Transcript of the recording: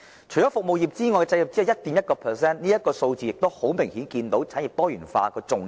除服務業外，製造業只佔 1.1%， 從這數字明顯可見產業多元化的重要性。